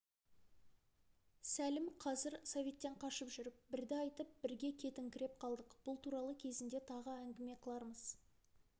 сәлім қазір советтен қашып жүр бірді айтып бірге кетіңкіреп қалдық бұл туралы кезінде тағы әңгіме қылармыз